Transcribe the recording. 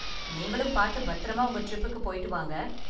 நீங்களும் பார்த்து பத்திரமா உங்க ட்ரிப்க்கு போயிட்டு வாங்க.